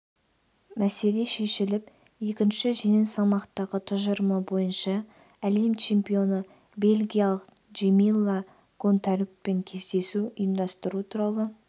мәселе шешіліп екінші жеңіл салмақтағы тұжырымы бойынша әлем чемпионы бельгиялық джемилла гонтарюкпен кездесу ұйымдастыру туралы